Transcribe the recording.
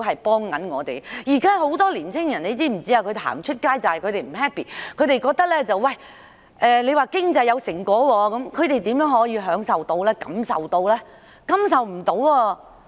現時很多青年人走到街頭，正是因為他們感到不開心，我們經常說的經濟成果，他們又可以享受和感受得到嗎？